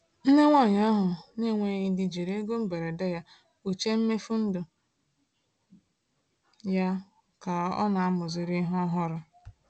Nne nwanyị ahụ na-enweghị di jiri ego mberede ya kpuchie mmefu ndụ ya ka ọ na-amụzigharị ihe ọhụrụ.